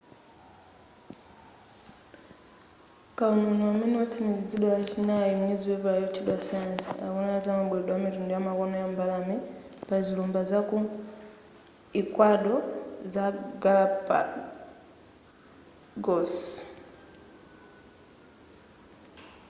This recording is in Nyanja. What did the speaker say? kawuniwuni amene watsindikizidwa lachinayi mnyuzipepala yotchedwa science akunena zamabweredwe amitundu yamakono ya mbalame pa zilumba zaku ecuador za galápagos